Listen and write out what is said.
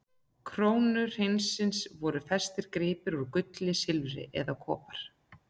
krónu hreinsins voru festir gripir úr gulli, silfri eða kopar.